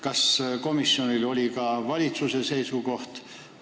Kas komisjonile on teada ka valitsuse seisukoht?